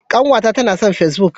Ƙanwata ta nason face-book.